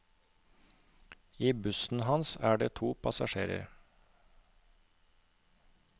I bussen hans er det to passasjerer.